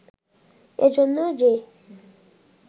এ জন্য যে